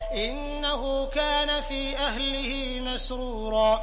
إِنَّهُ كَانَ فِي أَهْلِهِ مَسْرُورًا